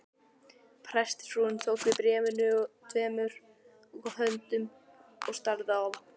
Prestsfrúin tók við bréfinu tveimur höndum og starði á það.